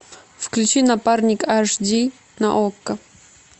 включи напарник аш ди на окко